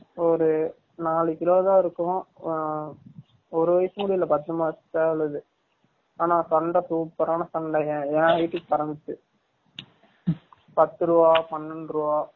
ஒரு நாலு கிலோ தான் இருக்கும் ஆ ஒரு வயசும் கூடி இல்ல பத்து மாச சேவல் அது, ஆனா சண்டை super ஆனா சண்டை என் height க்கு பரந்துச்சு, பத்து ருவா, பனண்டு ரூவா